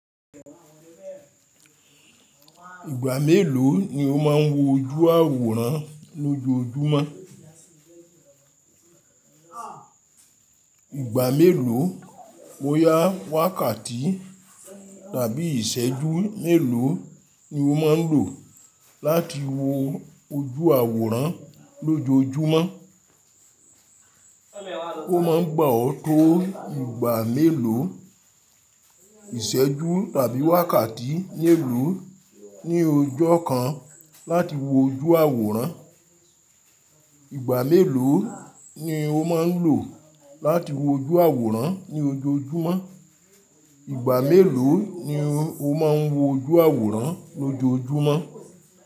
Ìgbà mélòó ni o máa ń wo ojú àwòrán lójoójúmọ́? Ìgbà mélòó, boyá, wákàtí tàbí ìṣẹ́jú mélòó ni o máa ń lò láti wo ojú àwòrán lójoójúmọ́? Ó máa ń gba ọ tó ìgbà mélòó, ìṣẹ́jú tàbí wákàtí mélòó ní ojó kan láti wo ojú àwòrán? Mélòó ni o máa ń lò láti wo ojú àwòrán ní ojoojúmọ́? Ìgbà mélòó ni o máa ń wo ojú àwòrán lójoójúmọ́?